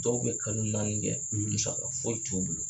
Dɔw bɛ kalo naani kɛ, , musaka foyi t'u bolo.